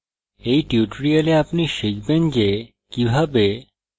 in tutorial আপনি শিখবেন যে কিভাবে: